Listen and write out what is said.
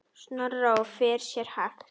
Snorra og fer sér hægt.